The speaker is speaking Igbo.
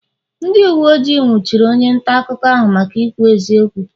ndị uwe ojii nwụchiri onye nta akụkọ ahụ maka ikwu eziokwu